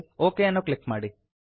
okay ಅನ್ನು click ಮಾಡಿ